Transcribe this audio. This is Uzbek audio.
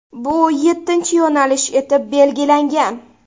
Bu yettinchi yo‘nalish etib belgilangan.